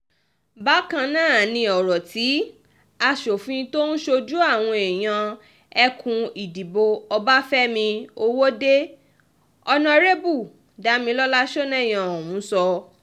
bákan náà um ni ọ̀rọ̀ tí asòfin tó ń ṣojú àwọn èèyàn ẹkùn ìdìbò ọbáfẹ́mi ọwọ́de onárẹ́bù damilọlá sọnẹ́yẹ um sọ